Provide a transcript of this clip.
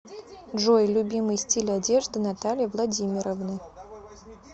джой любимый стиль одежды натальи владимировны